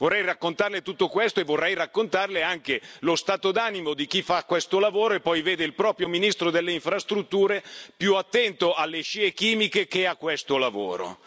Vorrei raccontarle tutto questo, e vorrei raccontarle anche lo stato d'animo di chi fa questo lavoro e poi vede il proprio ministro delle Infrastrutture più attento alle scie chimiche che a questo lavoro.